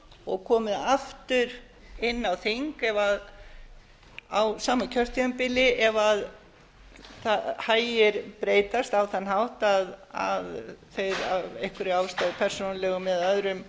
og komið aftur inn á þing á sama kjörtímabili ef hagir breytast á þann hátt að þeir af einhverjum ástæðum persónulegum eða öðrum